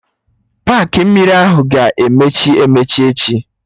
Paakị mmiri ahụ ga-emechi emechi echi